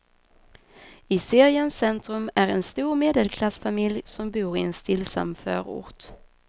I seriens centrum är en stor medelklassfamilj som bor i en stillsam förort.